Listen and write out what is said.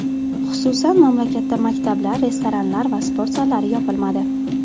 Xususan, mamlakatda maktablar, restoranlar va sport zallari yopilmadi.